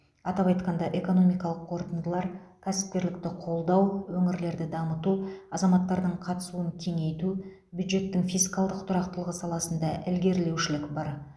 атап айтқанда экономикалық қорытындылар кәсіпкерлікті қолдау өңірлерді дамыту азаматтардың қатысуын кеңейту бюджеттің фискалдық тұрақтылығы саласында ілгерілеушілік бар